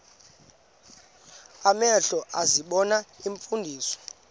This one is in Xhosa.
amehlo ezibona iimfundiso